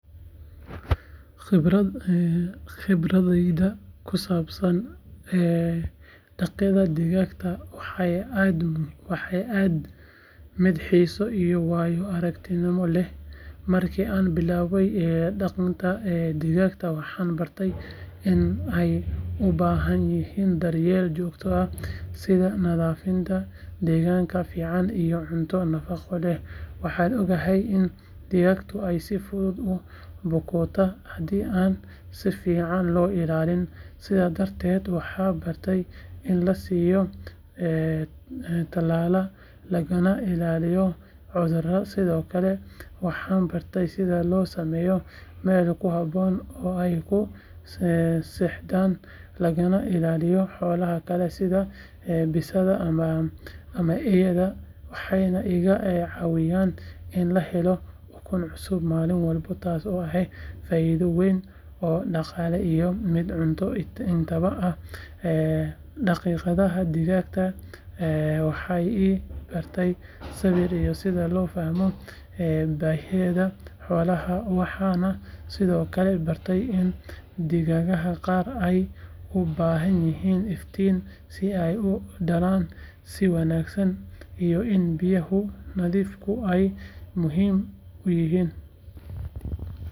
Khibradayda ku saabsan dhaqidda digaagga waxay ahayd mid xiiso iyo waayo-aragnimo leh markii aan bilaabay dhaqidda digaagga waxaan bartay in ay u baahan yihiin daryeel joogto ah sida nadaafadda deegaan fiican iyo cunto nafaqo leh waxaan ogaaday in digaaggu ay si fudud u bukoodaan haddii aan si fiican loo ilaalin sidaas darteed waxaan bartay in la siiyo tallaal lagana ilaaliyo cudurrada sidoo kale waxaan bartay sida loo sameeyo meel ku habboon oo ay ku seexdaan lagana ilaaliyo xoolaha kale sida bisadaha ama eeyaha waxayna iga caawiyeen in aan helo ukun cusub maalin walba taasoo ahayd faa’iido weyn oo dhaqaale iyo mid cunto intaba ah dhaqidda digaagga waxay i baray sabir iyo sida loo fahmo baahiyaha xoolaha waxaan sidoo kale bartay in digaagga qaar ay u baahan yihiin iftiin si ay u dhalaan si wanaagsan iyo in biyaha nadiifka ah ay muhiim u yihiin.